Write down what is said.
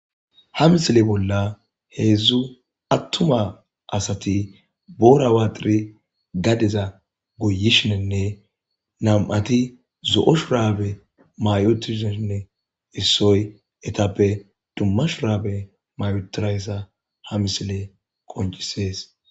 Ha misile bolla hezhu atuma asat boora waxid gadeza goyishenne nam7at zo'o shurabe mayi uttidanne issoy etappeka dumma shurabe may uttidaysa ha misiley qoncises.